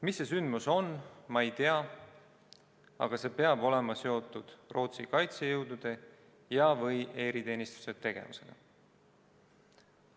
Mis juhtus, ma ei tea, aga see peab olema seotud Rootsi kaitsejõudude ja/või eriteenistuste tegevusega.